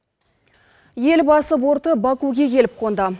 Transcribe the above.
елбасы борты бакуге келіп қонды